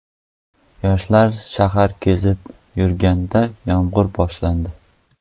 Yoshlar shahar kezib yurganida yomg‘ir boshlandi.